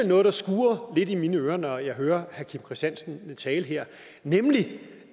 noget der skurrer lidt i mine ører når jeg hører kim christiansen tale her nemlig